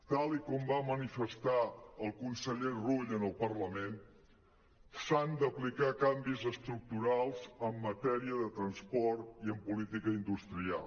tal i com va manifestar el conseller rull en el parlament s’han d’aplicar canvis estructurals en matèria de transport i en política industrial